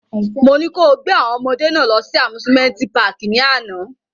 Mo ni ko gbe awọn ọmọde náa lọ si amusimenti pààki ni ana!